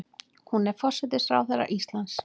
Hún er forsætisráðherra Íslands.